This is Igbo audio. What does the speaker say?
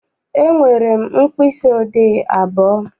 Enwere m mkpịsị odee abụọ.